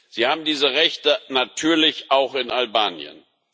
Sie haben diese Rechte natürlich auch in Albanien.